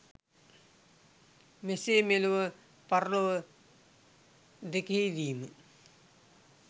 මෙසේ මෙලොව පරලොව දෙකෙහිදීම